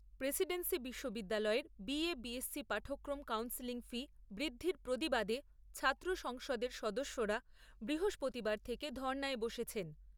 Presidency বিশ্ববিদ্যালয়ের BA, BSc পাঠক্রম counselling fee বৃদ্ধির প্রতিবাদে ছাত্র সংসদের সদস্যরা বৃহস্পতিবার থেকে ধর্ণায় বসেছেন।